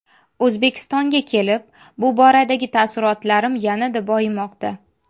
O‘zbekistonga kelib bu boradagi taassurotlarim yanada boyimoqda.